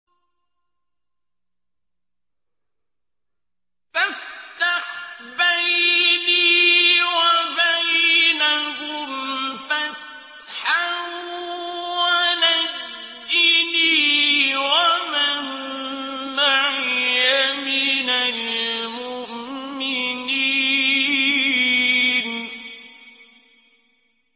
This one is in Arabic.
فَافْتَحْ بَيْنِي وَبَيْنَهُمْ فَتْحًا وَنَجِّنِي وَمَن مَّعِيَ مِنَ الْمُؤْمِنِينَ